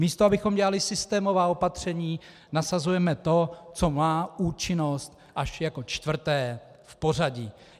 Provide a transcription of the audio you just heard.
Místo abychom dělali systémová opatření, nasazujeme to, co má účinnost až jako čtvrté v pořadí.